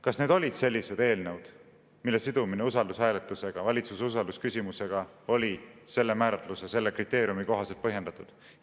Kas need olid sellised eelnõud, mille sidumine usaldushääletusega, valitsuse usaldusküsimusega oli selle määratluse, selle kriteeriumi kohaselt põhjendatud?